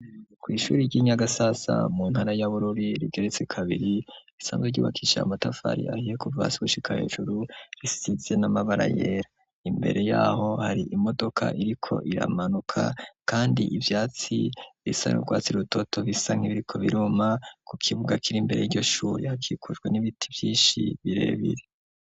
Ku ishuri ry'Inyagasasa mu ntara ya Bururi rigeretse kabiri risanzwe ryubakishije amatafari ahiye kuva hasi gushika hejuru risizize n'amabara yera imbere yaho hari imodoka iriko iramanuka kandi ivyatsi bisa n'urwatsi rutoto bisa nkaho biriko biruma ku kibuga kiri imbere yryo shuri hakikujwe n'ibiti vyishi birebire.